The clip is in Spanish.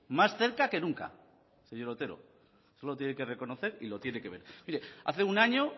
más cerca que nunca señor otero eso lo tiene que reconocer y lo tiene que ver mire hace un año